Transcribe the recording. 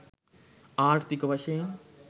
ආර්ථීක වශයෙන්